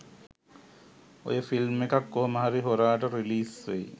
ඔය ෆිල්ම් එකත් කොහොමහරි හොරාට රිලීස් වෙයි.